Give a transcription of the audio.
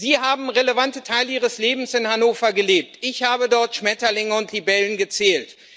Sie haben relevante Teile ihres Lebens in Hannover gelebt, ich habe dort Schmetterlinge und Libellen gezählt.